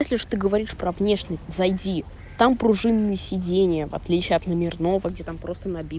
если уж ты говоришь про внешность зайди там пружинные сиденья в отличие от номерного где там просто наби